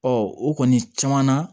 o kɔni caman na